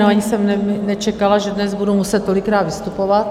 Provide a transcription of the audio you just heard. No, ani jsem nečekala, že dnes budu muset tolikrát vystupovat.